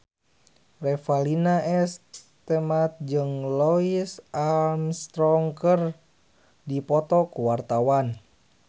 Revalina S. Temat jeung Louis Armstrong keur dipoto ku wartawan